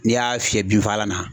N'i y'a fiyɛ binfagalan na